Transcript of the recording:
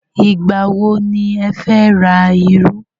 Ìgbà wọ ni ẹ fẹ́ ra iru?